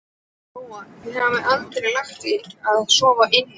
Lóa: Þið hafið ekki lagt í að sofa inni?